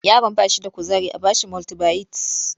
Yaron ba shi da kuzari a ba shi multibayit